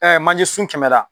manjesun kɛmɛ la.